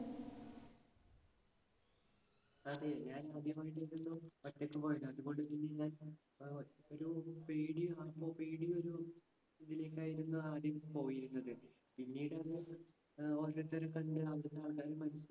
അതെ. ഞാൻ ആദ്യമായിട്ടാണല്ലോ ഒറ്റക്ക് പോയത്. അതുകൊണ്ടുതന്നെ ഞാൻ അഹ് ഒരു പേടി പേടിയൊരു ഇതിലേക്കായിരുന്നു ആദ്യം പോയിരുന്നത്. പിനീട് അത് അഹ്